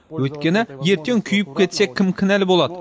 өйткені ертең күйіп кетсе кім кінәлі болады